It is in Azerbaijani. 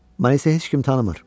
Məni isə heç kim tanımır.